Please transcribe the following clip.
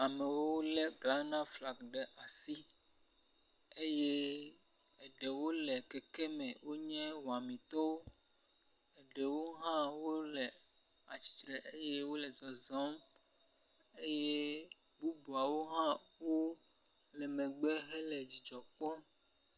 amewo wóle Ghana flag ɖe asi eye eɖewo le keke me wó nye wɔamitɔwo ɖewo hã wóle atsitre eye wóle zɔzɔm eye bubuawo hã wóle megbe hele dzidzɔ kpɔm